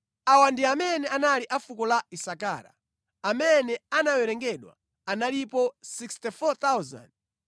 Awa ndi amene anali a fuko la Isakara. Amene anawerengedwa analipo 64,300.